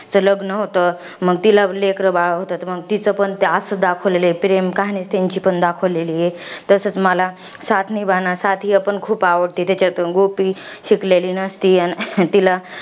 तिचं लग्न होतं. मंग तिला लेकरं बाळं होतात. मंग तिचं पण असंच दाखवलाय, प्रेम कहाणी. त्यांची पण दाखवलेली आहे. तसचं मला, पण खूप आवडते. त्याच्यात, गोपी शिकलेली नसती, आणि तिला